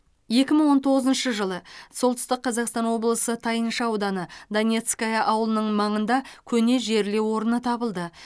екі мың он тоғызыншы жылы солтүстік қазақстан облысы тайынша ауданы донецкое ауылының маңында көне жерлеу орны табылды